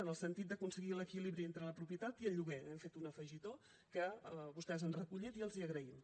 en el sentit d’aconseguir l’equilibri entre la propietat i el lloguer hi hem fet un afegitó que vostès han recollit i els ho agraïm